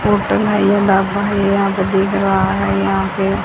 hotel है यह ढाबा है ये यहां पे दिख रहा है यहां पे --